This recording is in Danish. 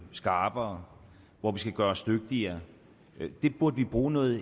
skarpere hvor vi skal gøre os dygtigere det burde vi bruge noget